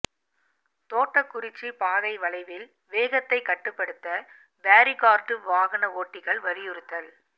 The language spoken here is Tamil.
தோட்டக்குறிச்சி பாதை வளைவில் வேகத்தை கட்டுப்படுத்த பேரிகார்டு வாகன ஓட்டிகள் வலியுறுத்தல்